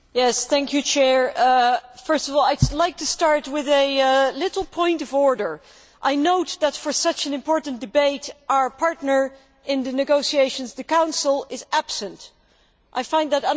Madam President, first of all, I would like to start with a little point of order I note that for such an important debate, our partner in the negotiations, the Council, is absent. I find that unacceptable.